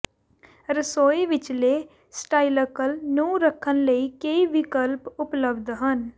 ਰਸੋਈ ਵਿਚਲੇ ਸਟਾਈਲਕਲ ਨੂੰ ਰੱਖਣ ਲਈ ਕਈ ਵਿਕਲਪ ਉਪਲਬਧ ਹਨ